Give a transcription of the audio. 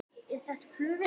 Er þetta flugvél?